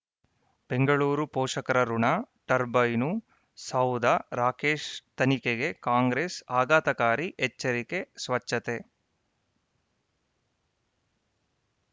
ಬೆಂಗಳೂರು ಪೋಷಕರಋಣ ಟರ್ಬೈನು ಸೌಧ ರಾಕೇಶ್ ತನಿಖೆಗೆ ಕಾಂಗ್ರೆಸ್ ಆಘಾತಕಾರಿ ಎಚ್ಚರಿಕೆ ಸ್ವಚ್ಛತೆ